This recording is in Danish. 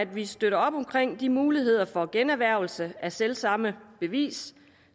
vi støtter op om de muligheder for generhvervelse af selv samme bevis